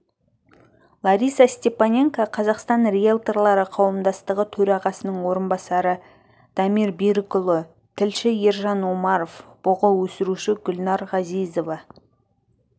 лариса степаненко қазақстан риэлторлары қауымдастығы төрағасының орынбасары дамир берікұлы тілші ержан омаров бұғы өсіруші гүлнәр ғазизова